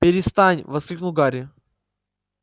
перестань воскликнул гарри